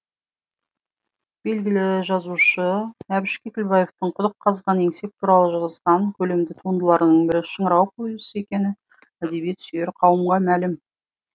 белгілі жазушы әбіш кекілбаевтың құдық қазған еңсеп туралы жазған көлемді туындыларының бірі шыңырау повесі екені әдебиет сүйер қауымға мәлім